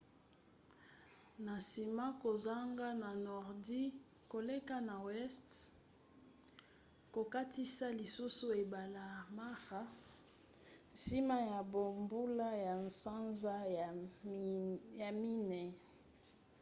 na nsima kozonga na nordi koleka na weste kokatisa lisusu ebale mara nsima ya bambula ya sanza ya minei